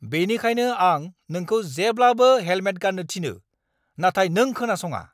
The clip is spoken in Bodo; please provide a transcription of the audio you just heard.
बेनिखायनो आं नोंखौ जेब्लाबो हेलमेट गान्नो थिनो, नाथाय नों खोनासङा!